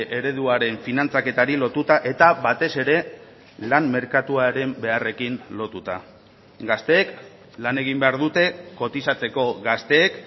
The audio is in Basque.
ereduaren finantzaketari lotuta eta batez ere lan merkatuaren beharrekin lotuta gazteek lan egin behar dute kotizatzeko gazteek